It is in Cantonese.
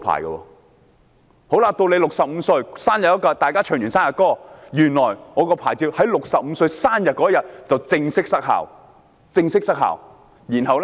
到了65歲生日，大家唱完生日歌後，原來我駕駛船隻的牌照在65歲生日當天正式失效，沒錯，是正式失效。